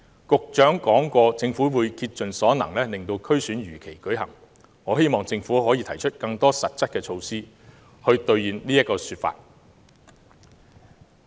局長說過政府會竭盡所能令區選如期舉行，我希望政府可以提出更多實質的措施，兌現這個說法。